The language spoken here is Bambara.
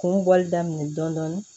Kuru bɔli daminɛ dɔɔnin dɔɔnin